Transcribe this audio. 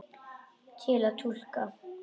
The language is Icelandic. Til að túlka